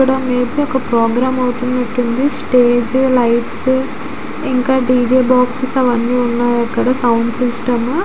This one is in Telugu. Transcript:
ఇక్కడ మీకు ఒక ప్రోగ్రామ్ అవుతునట్టు ఉంది. స్టేజ్ లైట్స్ ఇంకా డి జె బాక్సెస్ అవన్నీ ఉన్నాయి. అక్కడ ఇంకా సౌండ్ సిస్టమ్ --